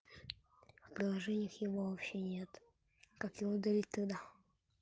приложения и вовсе нет как его удалить тогда